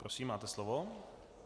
Prosím, máte slovo.